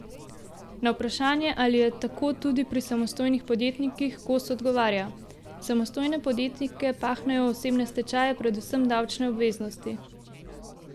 Na vprašanje, ali je tako tudi pri samostojnih podjetnikih, Kos odgovarja: 'Samostojne podjetnike pahnejo v osebne stečaje predvsem davčne obveznosti.